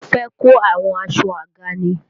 Mo fé kò àwọn aṣọ àga ni.